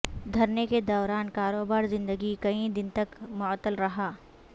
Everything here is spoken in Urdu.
دھرنے کے دوران کاروبار زندگی کئی دن تک معطل رہا